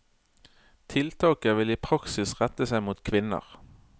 Tiltaket vil i praksis rette seg mot kvinner.